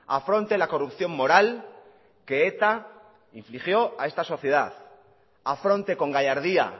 afronte la corrupción moral que eta infligió a esta sociedad afronte con gallardía